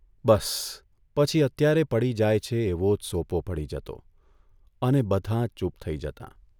બસ પછી અત્યારે પડી જાય છે એવો જ સોપો પડી જતો અને બધાં ચૂપ થઇ જતાં.